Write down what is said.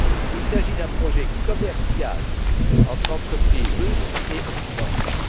Il s'agit d'un projet commercial entre entreprises russes et occidentales.